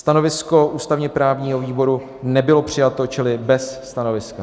Stanovisko ústavně-právního výboru nebylo přijato čili bez stanoviska.